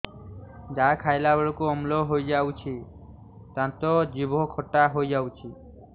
ଯାହା ଖାଇଲା ବେଳକୁ ଅମ୍ଳ ହେଇଯାଉଛି ଦାନ୍ତ ଜିଭ ଖଟା ହେଇଯାଉଛି